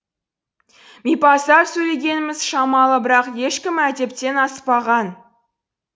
мипаздап сөйлегеніміз шамалы бірақ ешкім әдептен аспаған